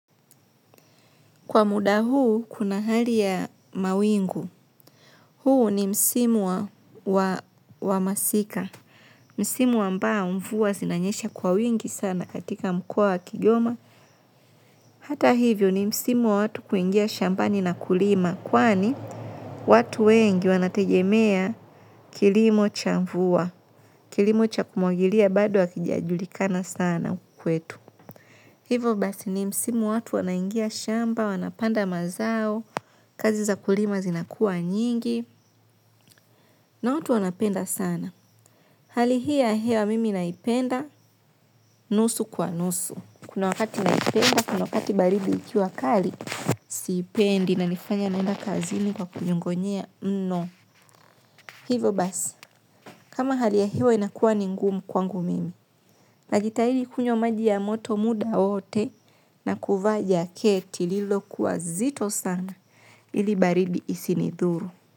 Kwa muda huu, kuna hali ya mawingu. Huu ni msimu wa masika. Msimu ambao mvua zinanyesha kwa wingi sana katika mkoa wa kigoma. Hata hivyo ni msimu wa watu kuingia shambani na kulima. Kwani, watu wengi wanategemea kilimo cha mvua. Kilimo cha kumwagilia bado hakijajulikana sana kwetu. Hivo basi ni msimu wa watu wanaingia shamba, wanapanda mazao. Kazi za kulima zinakua nyingi. Na watu wanapenda sana. Hali hii hewa mimi naipenda. Nusu kwa nusu. Kuna wakati naipenda, kuna wakati baridi ikiwa kali. Sipendi inaponifanya niende kazini nikinyong'onyea. Hivyo basi, kama hali ya hewa inakuwa ngumu kwangu mimi. Najitahidi kunywa maji ya moto muda wowote. Na kuvaa jaketi lililokuwa zito sana ili baridi isinidhuru.